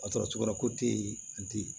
A sɔrɔ cogo yɔrɔ ko te yen a tɛ yen